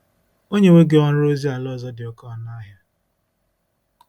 O nyewo gị ọrụ ozi ala ọzọ dị oké ọnụ ahịa.